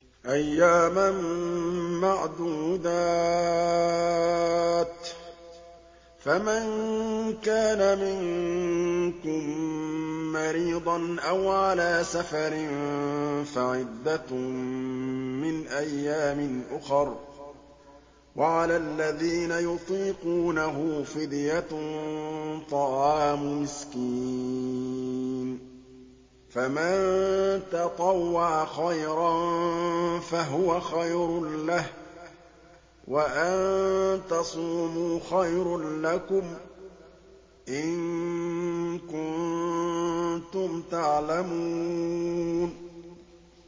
أَيَّامًا مَّعْدُودَاتٍ ۚ فَمَن كَانَ مِنكُم مَّرِيضًا أَوْ عَلَىٰ سَفَرٍ فَعِدَّةٌ مِّنْ أَيَّامٍ أُخَرَ ۚ وَعَلَى الَّذِينَ يُطِيقُونَهُ فِدْيَةٌ طَعَامُ مِسْكِينٍ ۖ فَمَن تَطَوَّعَ خَيْرًا فَهُوَ خَيْرٌ لَّهُ ۚ وَأَن تَصُومُوا خَيْرٌ لَّكُمْ ۖ إِن كُنتُمْ تَعْلَمُونَ